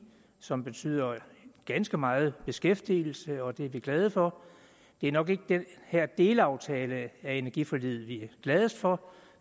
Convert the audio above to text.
som betyder ganske meget beskæftigelse og det er vi glade for det er nok ikke den her delaftale af energiforliget vi er gladest for